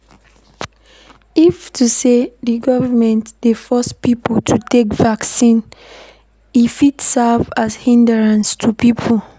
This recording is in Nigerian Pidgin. If na sey di government dey force pipo to take vaccine, e fit serve as hindrance to pipo